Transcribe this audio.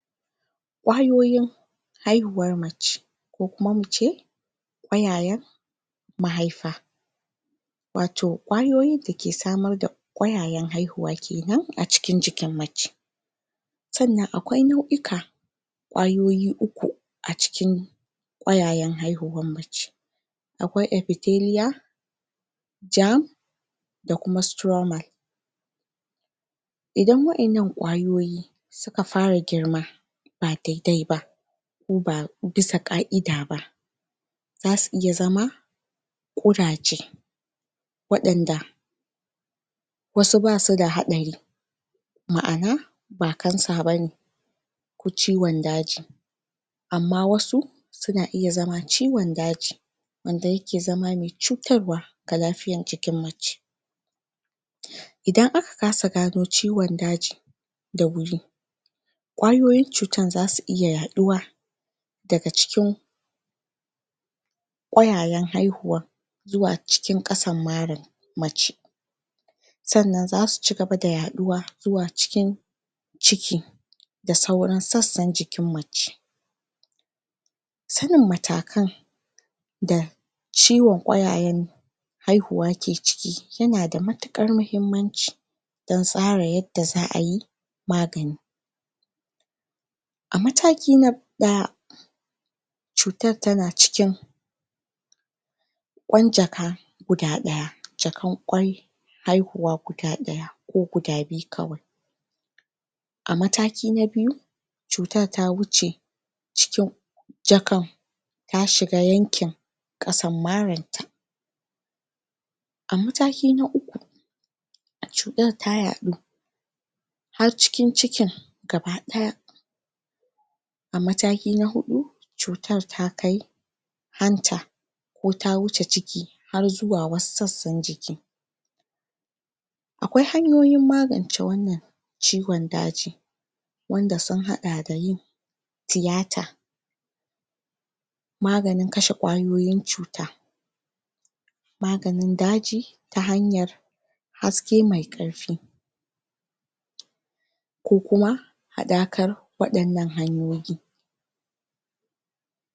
ƙwayoyin haihuwar mace ko kuma mu ce ƙwayayen mahaifa wato ƙwayoyin da ke samar da ƙwayayen haihuwa kenan a cikin jikin mace sannan akwai nau'ika ƙwayoyi uku a cikin ƙwayayen haihuwan mace akwai epithelial germ da kuma stoma idan wa'innan ƙwayoyi suka fara girma ba daidai ba ko ba bisa ƙa'ida ba za su iya zama ƙuraje waɗanda wasu basu da haɗari ma'ana ba cancer ba ne ko ciwon daji amma wasu suna iya zama ciwon daaji wanda yake zama mai cutarwa ga lafiyan jikin mace idan aka kasa gano ciwon daji da wuri ƙwayoyin cutar za su iya yaɗuwa daga cikin ƙwayayen haihuwan zuwa cikin ƙasan marar mace sannan zasu cigaba da yaɗuwa zuwa cikin ciki da sauran sassan jikin mace sanin matakan da ciwon ƙwayayen haihuwa ke ciki yana da matuƙar mahimmanci dan tsara yanda za a yi magani a mataki na ɗaya cutar tana cikin ƙwan jaka guda ɗaya jakan ƙwai haihuwa guda ɗaya ko guda biyu kawai a mataki na biyu cutar ta wuce cikin jakan ta shiga yankin ƙasan maranta a mataki na uku cutar ta yaɗu har cikin cikin gabaɗaya a mataki na huɗu cutar ta kai hanta ko ta wuce ciki har zuwa wasu sassan jiki akwai hanyoyin magance wannan ciwon daji wanda usn haɗa da yin tiyata maganin kashe ƙwayoyin cuta maganin daji ta hanyar haske mai ƙarfi ko kuma haɗakar waɗannan hanyoyin.